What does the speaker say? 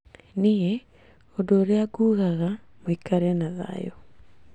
Niĩ ũndũ ũrĩa nguga mũikare na thayũ